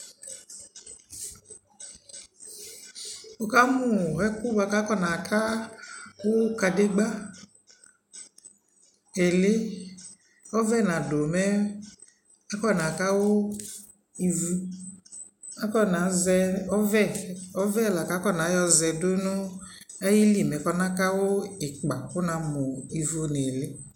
wɔkamʋ ɛkʋɛ kʋ akɔ na ka kadigba ɛli, ɔvɛ nadʋ mɛ aƒɔ naka wʋ ivʋ ,akɔna zɛ ɔvɛ, ɔvɛ lakʋ afɔna yɔzɛ dʋnʋ ayili mɛ kɔna kawʋ ikpa kʋ na mʋ ivʋ nʋ ɛli